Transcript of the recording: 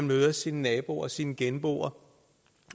møder sine naboer og sine genboer